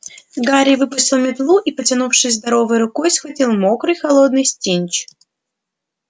гарри выпустил метлу и потянувшись здоровой рукой схватил мокрый холодный снитч